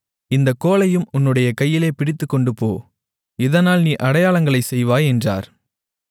இந்தக் கோலையும் உன்னுடைய கையிலே பிடித்துக்கொண்டுபோ இதனால் நீ அடையாளங்களைச் செய்வாய் என்றார்